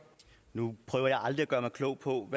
noget